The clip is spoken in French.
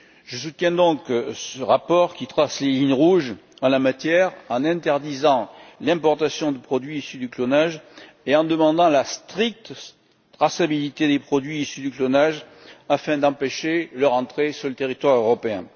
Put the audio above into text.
Je soutiens donc ce rapport qui trace les lignes rouges en la matière, en interdisant l'importation de produits issus du clonage et en demandant la stricte traçabilité des produits issus du clonage afin d'empêcher leur entrée sur le territoire européen.